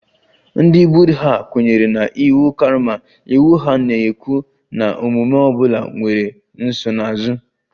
Ndị Buddha kwenyere na iwu karma, iwu ahụ na-ekwu na omume ọ bụla nwere nsonaazụ